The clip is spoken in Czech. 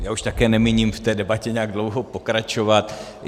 Já už také nemíním v té debatě nějak dlouho pokračovat.